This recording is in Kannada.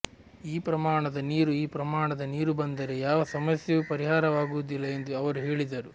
ಈ ಪ್ರಮಾಣದ ನೀರು ಈ ಪ್ರಮಾಣದ ನೀರು ಬಂದರೆ ಯಾವ ಸಮಸ್ಯೆಯೂ ಪರಿಹಾರವಾಗುವದಿಲ್ಲ ಎಂದು ಅವರು ಹೇಳಿದರು